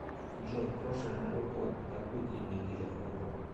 джой прошлый новый год на какой день недели выпал